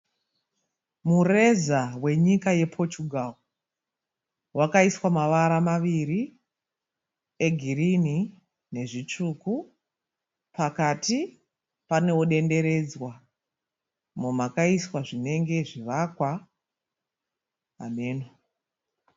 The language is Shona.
Mureza wenyika ye Portugal wakaiswa mavara maviri egirini nezvitsvuku pakati panewo denderedzwa umo makaiswa zvinenge zvivakwa.